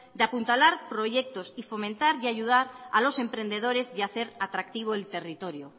de apuntalar proyectos y fomentar y ayudar a los emprendedores y hacer atractivo el territorio